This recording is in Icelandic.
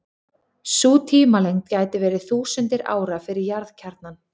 Sú tímalengd gæti verið þúsundir ára fyrir jarðkjarnann.